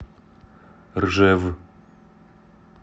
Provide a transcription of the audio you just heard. ржев